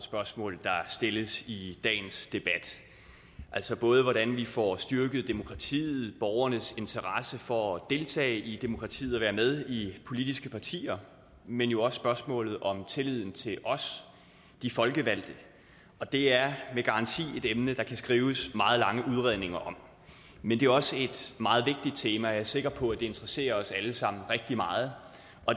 spørgsmål der stilles i dagens debat altså både hvordan vi får styrket demokratiet borgernes interesse for at deltage i demokratiet og være med i politiske partier men jo også spørgsmålet om tilliden til os de folkevalgte og det er med garanti et emne der kan skrives meget lange udredninger om men det er også et meget vigtigt tema og jeg sikker på at det interesserer os alle sammen rigtig meget